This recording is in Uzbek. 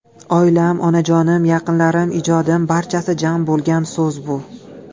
Oilam, onajonim, yaqinlarim, ijodim barchasi jam bo‘lgan so‘z bu!